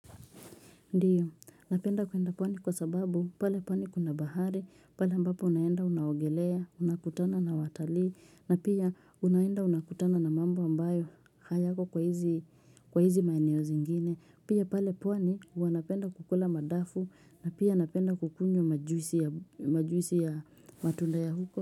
Ndiyo, napenda kuenda pwani kwa sababu, pale pwani kuna bahari, pale ambapo unaenda unaogelea, unakutana na watalii, na pia unaenda unakutana na mambo ambayo hayako kwa hizi maeneo zingine, pia pale pwani wanapenda kukula madafu, na pia napenda kukunywa majuisi majuisi ya matunda ya huko.